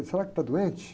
Será que está doente?